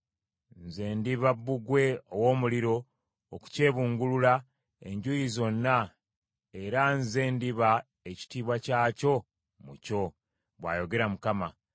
Nze ndiba bbugwe ow’omuliro, okukyebungulula enjuuyi zonna era nze ndiba ekitiibwa kyakyo mu kyo,’ bw’ayogera Mukama .